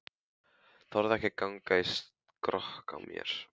Þorði ekki að ganga í skrokk á mér.